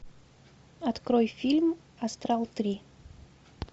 открой фильм астрал три